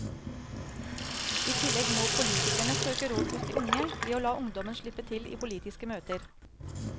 I tillegg må politikerne søke råd hos de unge, ved å la ungdommen slippe til i politiske møter.